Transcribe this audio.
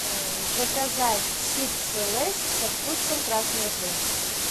заказать чипсы лейс со вкусом красной икры